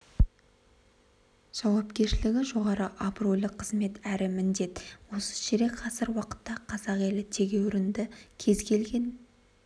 жауапкершілігі жоғары абыройлы қызмет әрі міндет осы ширек ғасыр уақытта қазақ елі тегеурінді кез келген